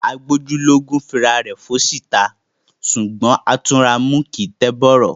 Agbójú lógún fi ará rẹ fun oṣi ta. Ṣugbọn Atunramu kii n tẹ bọrọ.